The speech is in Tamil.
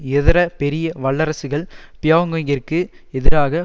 இதர பெரிய வல்லரசுகள் பியோங்யாங்கிற்கு எதிராக